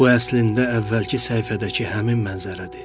Bu əslində əvvəlki səhifədəki həmin mənzərədir.